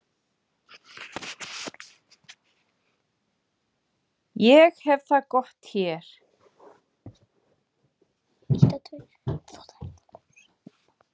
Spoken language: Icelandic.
Ég hef það gott hér.